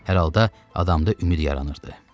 Hər halda adamda ümid yaranırdı.